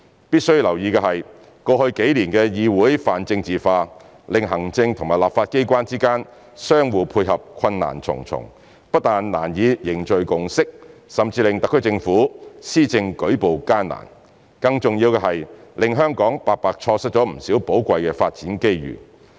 必須留意的是，過去數年的議會泛政治化，令行政和立法機關之間相互配合困難重重，不但難以凝聚共識，甚至令特區政府施政舉步艱難，更重要的是令香港白白錯失了不少寶貴的發展機遇。